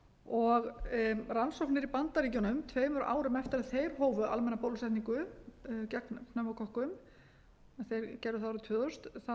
og rannsóknir í bandaríkjunum tveimur árum eftir að þeir hófu almenna bólusetningu gegn pneumókokkum en þeir gerðu það árið tvö þúsund